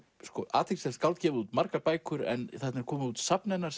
athyglisvert skáld gefið út margar bækur en þarna er komið út safn hennar